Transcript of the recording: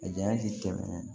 A janya tɛ tɛmɛ